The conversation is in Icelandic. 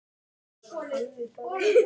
Markmið þurfi að vera skýr.